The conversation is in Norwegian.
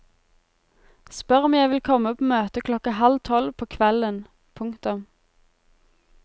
Spør om jeg vil komme på møte klokka halv tolv på kvelden. punktum